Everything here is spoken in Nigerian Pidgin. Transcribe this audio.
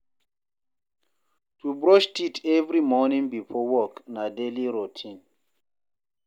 To brush teeth every morning before work na daily routine